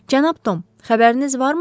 Cənab Tom, xəbəriniz varmı?